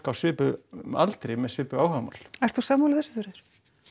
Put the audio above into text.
á svipuðum aldri með svipuð áhugamál ert þú sammála þessu Þuríður